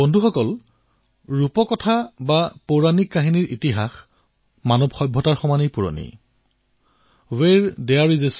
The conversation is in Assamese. বন্ধুসকল সাধুৰ ইতিহাস সিমানেই পুৰণি যিমানেই পুৰণি মানৱ সভ্যতা